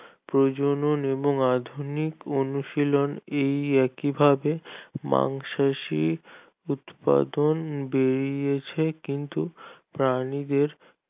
প্রজনন এবং আধুনিক অনুশীলন এই একইভাবে মাংসাশী উৎপাদন বেরিয়েছে কিন্তু প্রাণীদের